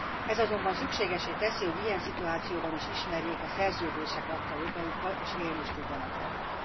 Ez azonban szükségessé teszi, hogy ilyen szituációban is ismerjék a szerződések adta jogaikat, és élni is tudjanak velük.